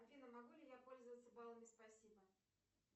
афина могу ли я пользоваться баллами спасибо